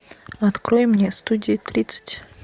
открой мне студия тридцать